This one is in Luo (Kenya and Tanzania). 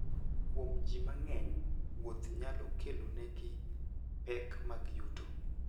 Kuom ji mang'eny, wuoth nyalo kelonegi pek mag yuto.